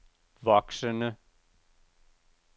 voksende